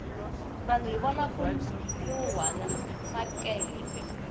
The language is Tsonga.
vanhu hi vona ku nuhwana makehele